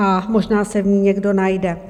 A možná se v ní někdo najde.